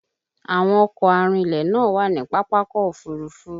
Àwọn ọkọ̀ arinlẹ̀ náà wà ní Pápákọ̀ Òfurufú